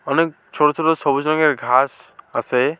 অনেক ছোট ছোট সবুজ রঙের ঘাস আসে।